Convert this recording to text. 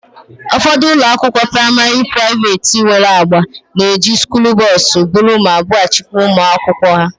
Ụfọdụ ụlọakwụkwọ praịmarị praiveeti nwere agba na-eji skuulu bọs buru ma bughachịkwa ụmụ akwụkwọ ha